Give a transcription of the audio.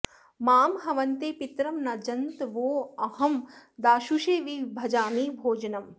मां ह॑वन्ते पि॒तरं॒ न ज॒न्तवो॒ऽहं दा॒शुषे॒ वि भ॑जामि॒ भोज॑नम्